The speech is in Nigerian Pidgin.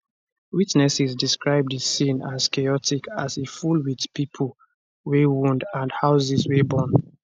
witnesses describe di scene as chaotic as e full wit pipo wey wound and houses wey burn